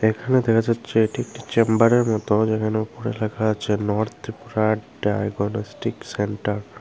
এখানে দেখা যাচ্ছে এটি একটি চেম্বারের মত যেখানে উপরে লেখা আছে নর্থ ত্রিপুরা ডায়াগনস্টিক সেন্টার ।